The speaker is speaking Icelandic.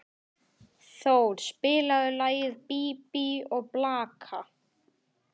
Thor, spilaðu lagið „Bí bí og blaka“.